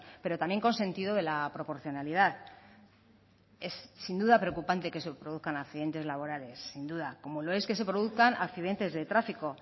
pero también con sentido de la proporcionalidad es sin duda preocupante que se produzcan accidentes laborales sin duda como lo es que se produzcan accidentes de tráfico